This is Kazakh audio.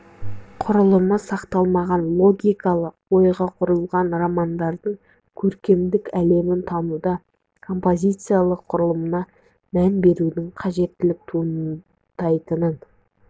құрылымы сақталмаған логикалық ойға құрылған романдарды көркемдік әлемін тануда композициялық құрылымына мән берудің қажеттігі туындайтынын